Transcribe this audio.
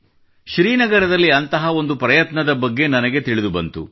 ಶ್ರೀನಗರದಲ್ಲಿ ಅಂತಹ ಒಂದು ಪ್ರಯತ್ನದ ಬಗ್ಗೆ ನನಗೆ ತಿಳಿದುಬಂತು